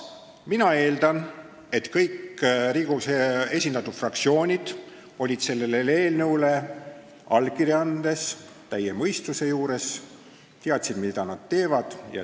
Mina eeldan, et kõik Riigikogus esindatud fraktsioonid olid sellele eelnõule allkirja andes täie mõistuse juures ja teadsid, mida nad teevad.